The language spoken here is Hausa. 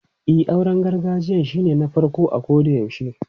E, auren gargajiyan shine na farko a kodayaushe.